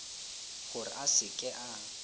gore a se ke a